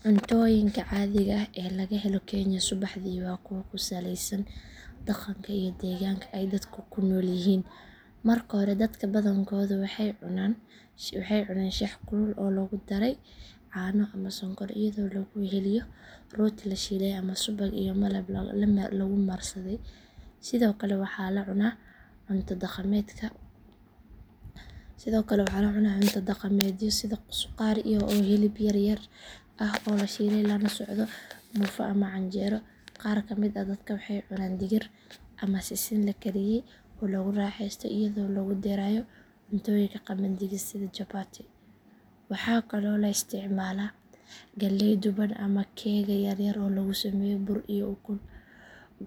Cuntooyinka caadiga ah ee laga helo kenya subaxdii waa kuwo ku saleysan dhaqanka iyo deegaanka ay dadku ku nool yihiin. Marka hore dadka badankoodu waxay cunaan shaah kulul oo lagu daray caano ama sonkor iyadoo lagu weheliyo rooti la shiilay ama subag iyo malab lagu marsaday. Sidoo kale waxaa la cunaa cunto dhaqameedyo sida suqaar oo hilib yaryar ah oo la shiilay lana socdo muufo ama canjeelo. Qaar ka mid ah dadka waxay cunaan digir ama sisin la kariyey oo lagu raaxeysto iyadoo lagu darayo cuntooyinka qamandiga sida chapati. Waxaa kaloo la isticmaalaa galley duban ama keega yar yar oo lagu sameeyo bur iyo ukun.